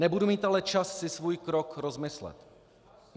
Nebudu mít ale čas si svůj krok rozmyslet.